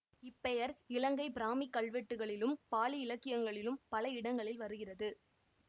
இப்பெயர் இலங்கை பிராமிக் கல்வெட்டுக்களிலும் பாளி இலக்கியங்களிலும் பல இடங்களில் வருகிறது